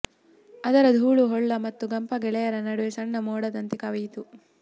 ಅದರ ಧೂಳು ಹೊಳ್ಳ ಮತ್ತು ಗಾಂಪಾ ಗೆಳೆಯರ ನಡುವೆ ಸಣ್ಣ ಮೋಡದಂತೆ ಕವಿಯಿತು